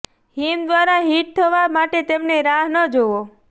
હિમ દ્વારા હિટ થવા માટે તેમને રાહ ન જુઓ